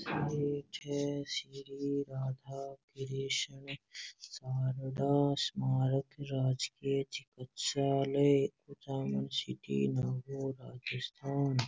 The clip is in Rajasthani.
एक श्री राधा कृष्णा शारदा स्मारक --